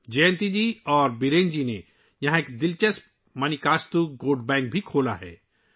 جینتی جی اور برین جی نے یہاں ایک دلچسپ مانیکاستو گوٹ بینک بھی کھولا ہے